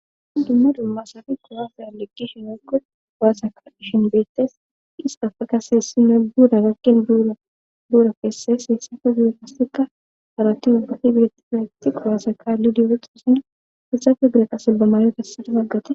dumma dummasafi qowafe alegishinookko waasaka ishin beettes hista fakasessi noy duuda gakken draduura feessa heessafe gure kaseka haratti ubbati beetti feaqti quwaasaka lidioretoosina hesafe dureqassilbamaayo tessade paggate